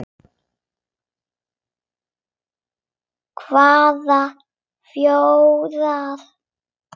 Hvaða fjórar?